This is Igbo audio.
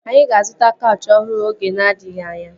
Anyị ga-azụta kaụchị ọhụrụ oge na-adịghị anya